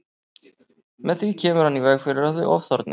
Með því kemur hann í veg fyrir að þau ofþorni.